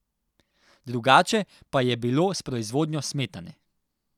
Drugače pa je bilo s proizvodnjo smetane.